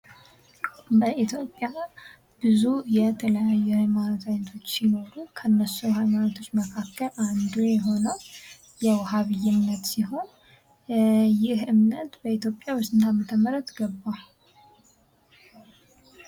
በኢትዮጵያ ብዙ የተለያዩ ሃይማኖቶች አይነቶች ሲኖሩ ከእነሱ ሃይማኖቶች መካከል አንዱ የሆነው የውሃብይ ዓይነት ሲሆን ይህ እምነት በኢትዮጵያ በስንት ዓመተ ምህረት ገባ?